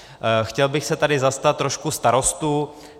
Chtěl bych se tady zastat trošku starostů.